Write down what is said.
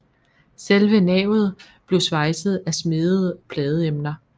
Selve navet bliver svejset af smedede pladeemner